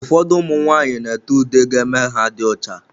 Ụfọdụ ụmụ nwanyị n'ete ude ga eme ha dị ọcha.